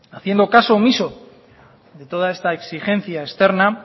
haciendo caso omiso de toda esta exigencia externa